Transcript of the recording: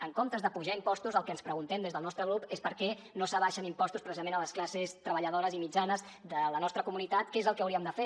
en comptes d’apujar impostos el que ens preguntem des del nostre grup és per què no s’abaixen impostos precisament a les classes treballadores i mitjanes de la nostra comunitat que és el que hauríem de fer